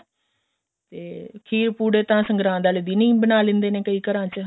ਤੇ ਖੀਰ ਪੁੜੇ ਤਾਂ ਸੰਗਰਾਤ ਆਲੇ ਦਿਨ ਹੀ ਬਣਾ ਲੈਂਦੇ ਨੇ ਘਰਾਂ ਚ